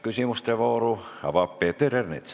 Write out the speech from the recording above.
Küsimuste vooru avab Peeter Ernits.